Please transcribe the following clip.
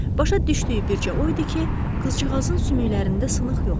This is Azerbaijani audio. Başa düşdüyü bircə o idi ki, qızcığazın sümüklərində sınıq yoxdur.